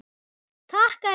Takk elsku frændi.